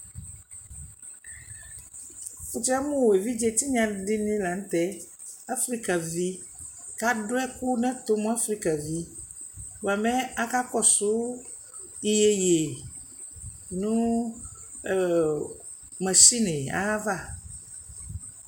nitsiyamʋ ɛvidzɛ tinya dini lantɛ afrika vi ka adʋ ɛkʋ nɛtʋ nʋ afrika vi bua my aka kɔsɔ iyɛyɛ nʋ ɛ machine li ayaɣa